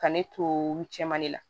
Ka ne to olu cɛman de la